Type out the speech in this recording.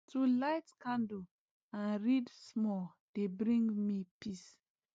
to light candle and read small dey bring me peace